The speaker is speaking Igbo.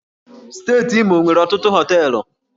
Steeti Imo nwere ọtụtụ hóteélụ̀